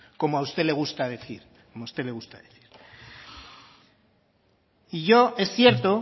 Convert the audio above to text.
como a usted le gusta decir como a usted le gusta decir y yo es cierto